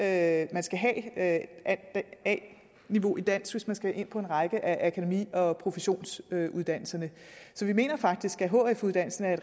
at man skal have a niveau i dansk hvis man skal ind på en række akademi og professionsuddannelser så vi mener faktisk at hf uddannelsen er